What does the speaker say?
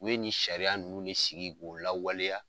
U ye ni sariya ninnu ne sigi k'u lawaleya